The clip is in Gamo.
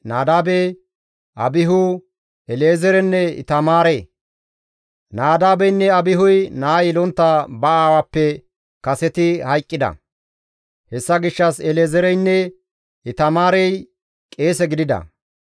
Nadaabeynne Abihuy naa yelontta ba aawappe kaseti hayqqida; hessa gishshas El7ezeereynne Itamaarey qeese gidida.